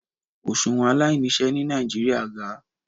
Oṣuwọn alainiṣẹ ni Nigeria ga